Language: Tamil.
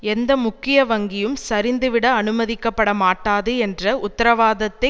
எந்த முக்கிய வங்கியும் சரிந்துவிட அனுமதிக்கப்படமாட்டாது என்ற உத்தரவாதத்தை